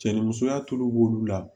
Cɛ ni musoya tulu b'olu la